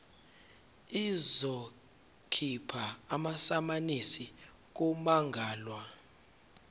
izokhipha amasamanisi kummangalelwa